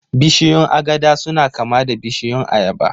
Bishiyun agada suna kama da bishiyun ayaba